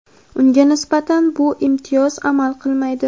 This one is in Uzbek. unga nisbatan bu imtiyoz amal qilmaydi.